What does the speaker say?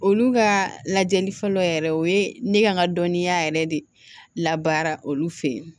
Olu ka lajɛli fɔlɔ yɛrɛ o ye ne ka n ka dɔnniya yɛrɛ de labaara olu fɛ yen